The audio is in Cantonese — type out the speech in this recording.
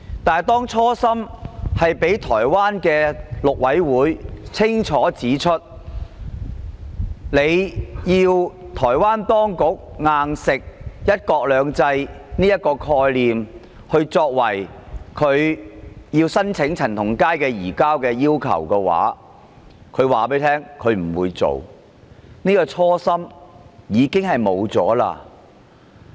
面對這初心，台灣的大陸委員會已清楚指出，如果要台灣當局"硬食""一國兩制"這個概念，作為申請移交陳同佳的要求，台方便不會提出申請，可見這初心便已經不存在了。